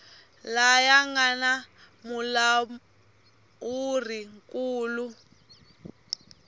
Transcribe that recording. laya nga na mulawuri nkulu